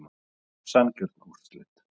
Sanngjörn úrslit.